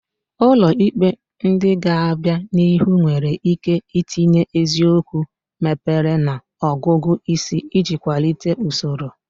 Ụlọ ikpe ndị ga-abịa n'ihu nwere ike itinye eziokwu mebere na ọgụgụ isi iji kwalite usoro.